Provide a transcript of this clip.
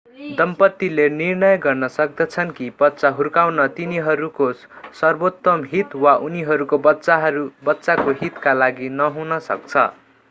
दम्पतिले निर्णय गर्न सक्दछन् कि बच्चा हुर्काउन तिनीहरूको सर्वोत्तम हित वा उनीहरूको बच्चाको हितका लागि नहुन सक्छ